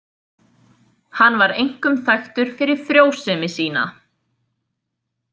Hann var einkum þekktur fyrir frjósemi sína.